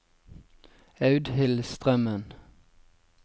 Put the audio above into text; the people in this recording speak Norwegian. Audhild Strømmen